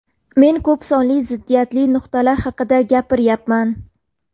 Men ko‘p sonli ziddiyatli nuqtalar haqida gapiryapman.